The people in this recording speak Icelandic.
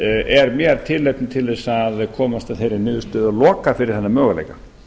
er mér tilefni að komast að þeirri niðurstöðu og loka fyrir þennan möguleika